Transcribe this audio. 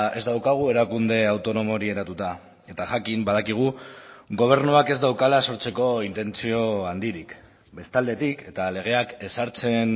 ez daukagu erakunde autonomo hori eratuta eta jakin badakigu gobernuak ez daukala sortzeko intentzio handirik bestaldetik eta legeak ezartzen